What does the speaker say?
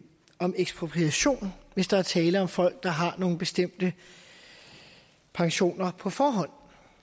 om ekspropriation hvis der er tale om folk der har nogle bestemte pensioner på forhånd